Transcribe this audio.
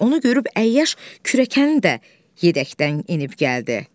Onu görüb əyyəş kürəkəni də yedəkdən enib gəldi.